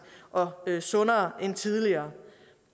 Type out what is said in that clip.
og sundere end tidligere